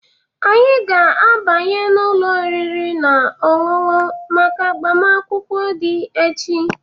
Anyị ga-abanye n'ụlọ oriri na ọṅụṅụ maka agbamakwụkwọ di echi.